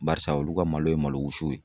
Barisa olu ka malo ye malo wusu ye.